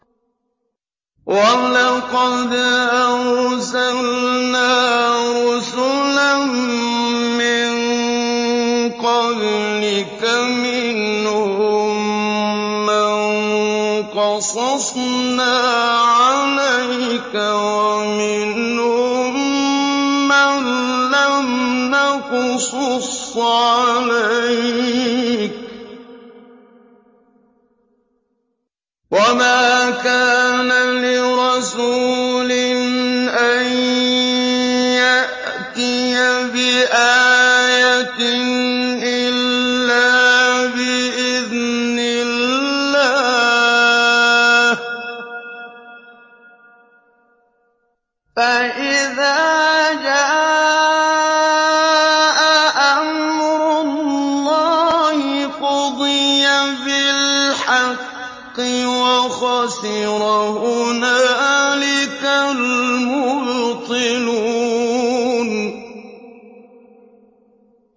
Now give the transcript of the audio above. وَلَقَدْ أَرْسَلْنَا رُسُلًا مِّن قَبْلِكَ مِنْهُم مَّن قَصَصْنَا عَلَيْكَ وَمِنْهُم مَّن لَّمْ نَقْصُصْ عَلَيْكَ ۗ وَمَا كَانَ لِرَسُولٍ أَن يَأْتِيَ بِآيَةٍ إِلَّا بِإِذْنِ اللَّهِ ۚ فَإِذَا جَاءَ أَمْرُ اللَّهِ قُضِيَ بِالْحَقِّ وَخَسِرَ هُنَالِكَ الْمُبْطِلُونَ